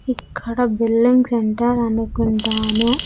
ఇక్కడ building centre అనుకుంటాను.